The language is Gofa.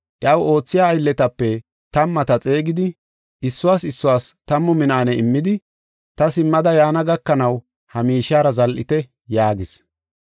Iyaw oothiya aylletape tammata xeegidi issuwas issuwas tammu minaane immidi ‘Ta simmada yaana gakanaw ha miishiyara zal7ite’ yaagis.